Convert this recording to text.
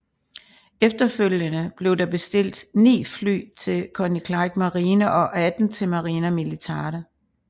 Efterfølgende blev der bestilt 9 fly til Koninklijke Marine og 18 til Marina Militare